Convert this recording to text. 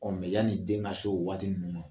Ɔ yani den ka se o waati ninnu ma